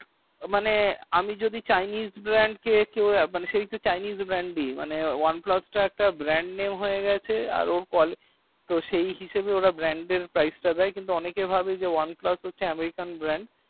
মানে আমি যদি chaines brand কে সেই একটু chaines brand নাম দেই মানে oneplus chaines brand নাম হয়ে গেছে মানে ওনাকে ভাবে american brand